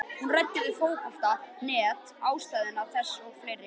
Hún ræddi við Fótbolta.net um ástæður þess og fleira.